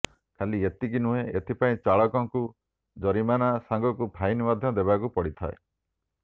ଖାଲି ଏତିକି ନୁହେଁ ଏଥିପାଇଁ ଚାଳକଙ୍କୁ ଜରିମାନା ସାଙ୍ଗକୁ ଫାଇନ ମଧ୍ୟ ଦେବାକୁ ପଡିଥାଏ